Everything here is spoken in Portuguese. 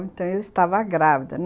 Então, eu estava grávida.